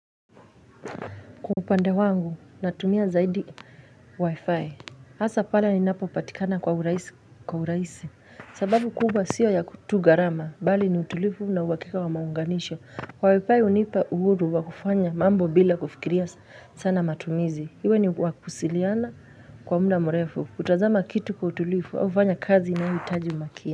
Kwa upande wangu, natumia zaidi wifi, hasa pala ni napo patikana kwa uraisi, sababu kubwa sio ya kutugarama, bali ni utulifu na uhakika wa maunganisho. Kwa wifi unipa uhuru wakufanya mambo bila kufikiria sana matumizi, iwe ni wakusiliana kwa mda mrefu, utazama kitu kwa utulivu au kufanya kazi inayoitaji umakia.